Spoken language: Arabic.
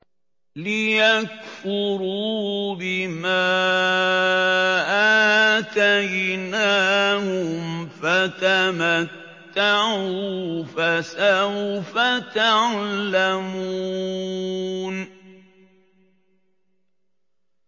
لِيَكْفُرُوا بِمَا آتَيْنَاهُمْ ۚ فَتَمَتَّعُوا فَسَوْفَ تَعْلَمُونَ